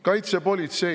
Kaitsepolitsei.